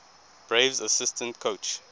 braves assistant coach